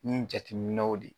Ni jateminɛw de